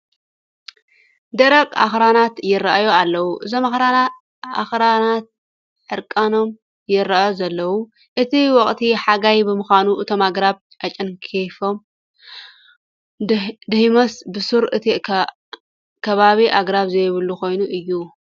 ደረቕ ኣኽራናት ይርአዩ ኣለዉ፡፡ እዞም ኣኽራናት ዕርቃኖም ይርአዩ ዘለዉ፡፡ እቲ ወቕቲ ሓጋይ ብምዃኑ አቶም ኣግራብ ኣጨንጊፎም ድዮምስ ብሱሩ እቲ ከባቢ ኣግራብ ዘይብሉ ኮይኑ እዩ?